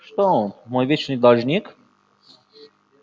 что он мой вечный должник